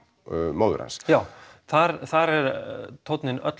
móður hans já þar þar er tóninn öllu